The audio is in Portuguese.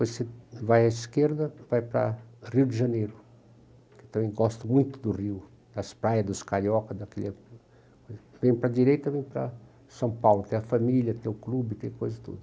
depois você vai à esquerda e vai para o Rio de Janeiro, que eu também gosto muito do Rio, das praias, dos cariocas, daquele... Vem para a direita, vem para São Paulo, tem a família, tem o clube, tem coisa e tudo.